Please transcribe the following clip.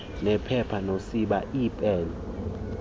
nephepha nosiba iipen